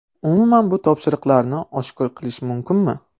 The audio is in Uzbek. Umuman, bu topshiriqni oshkor qilish mumkinmi?